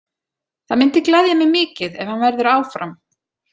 Það myndi gleðja mig mikið ef hann verður áfram.